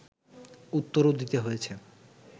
উত্তরও দিতে হয়েছে